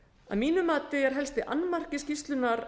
að mínu mati er helsti annmarki skýrslunnar